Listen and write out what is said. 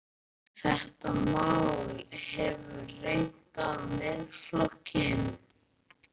Heimir: Þetta mál hefur reynt á Miðflokkinn?